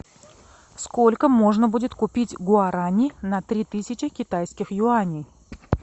сколько можно будет купить гуарани на три тысячи китайских юаней